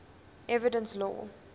evidence law